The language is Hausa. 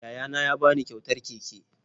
Yayana ya ba ni kyautar keke